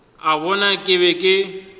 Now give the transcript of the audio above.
a bona ke be ke